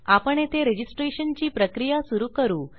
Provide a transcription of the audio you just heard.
आपण येथे रजिस्ट्रेशनची प्रक्रिया सुरू करू